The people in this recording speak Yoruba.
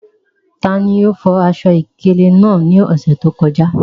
Tani o fo aṣọ-ìkéle naa ni ọsẹ to kọja?